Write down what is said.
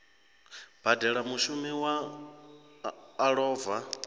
badela mushumi we a lova